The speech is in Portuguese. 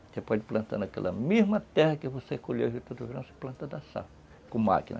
Você pode ir plantando naquela mesma terra que você colheu a juta do verão, você planta da safra, com máquina.